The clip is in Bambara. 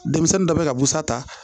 Denmisɛnnin dɔ bɛ ka busan ta